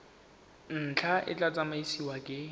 ntlha e tla tsamaisiwa ke